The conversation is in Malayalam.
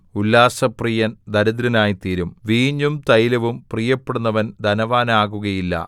ഉല്ലാസപ്രിയൻ ദരിദ്രനായിത്തീരും വീഞ്ഞും തൈലവും പ്രിയപ്പെടുന്നവൻ ധനവാനാകുകയില്ല